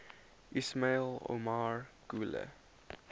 ismail omar guelleh